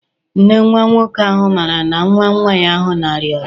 Nne nwa nwoke ahụ maara na nwa nwa ahụ na-arịa ọrịa?